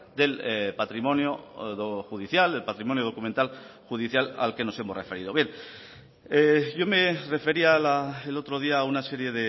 del patrimonio judicial del patrimonio documental judicial al que nos hemos referido bien yo me refería el otro día a una serie